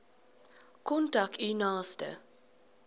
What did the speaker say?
kontak u naaste